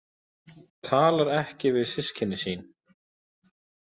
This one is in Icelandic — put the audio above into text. Talar ekki við systkini sín